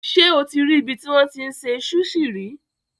Ṣé o ti rí ibi tí wọ́n ti ń se súṣì rí?